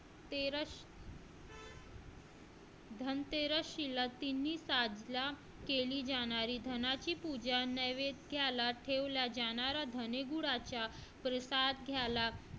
धनतेरस केली जाणारी धनाजी पूजा ठेवला जाणारा प्रसाद घ्यायला